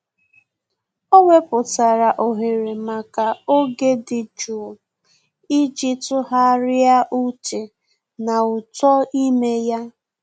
Ọ́ wèpụ̀tárà ohere màkà oge dị́ jụụ iji tụ́gharị́a úchè na uto ime ya.